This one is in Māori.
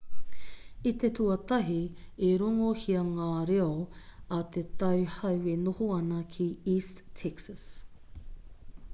i te tuatahi i rongohia ngā reo a te tauhou e noho ana ki east texas